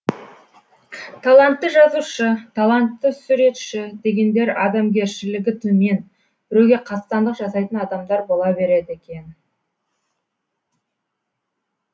талантты жазушы талантты суретші дегендер адамгершілігі төмен біреуге қастандық жасайтын адамдар бола береді екен